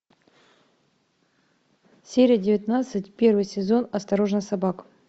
серия девятнадцать первый сезон осторожно собака